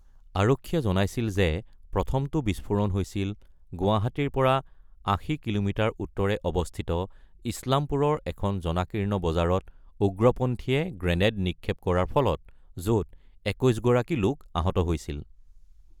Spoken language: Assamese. আৰক্ষীয়ে জনাইছিল যে, প্ৰথমটো বিস্ফোৰণ হৈছিল গুৱাহাটীৰ পৰা ৮০ কিলোমিটাৰ উত্তৰে অৱস্থিত ইছলামপুৰৰ এখন জনাকীৰ্ণ বজাৰত উগ্ৰপন্থীয়ে গ্ৰেনেড নিক্ষেপ কৰাৰ ফলত, য'ত ২১ গৰাকী লোক আহত হৈছিল।